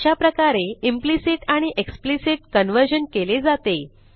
अशाप्रकारे इम्प्लिसिट आणि explicit conversion केले जाते